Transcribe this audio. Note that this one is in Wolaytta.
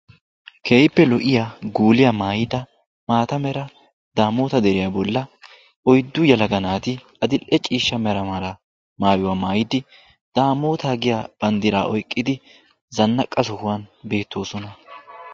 keehippe lo'iya guuliya maayida daamoota deriya boli oyddu yelaga naati adil'e ciishsha mera shuraabiya mayidi daamotaa giya bandiraa oyqqidi zanaqqa sohuwan beetoosona.